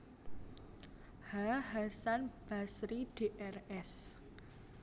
H Hasan Basri Drs